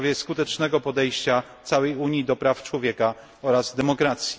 w sprawie skutecznego podejścia całej Unii do praw człowieka oraz demokracji.